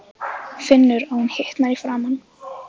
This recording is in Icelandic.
Finnur að hún hitnar í framan.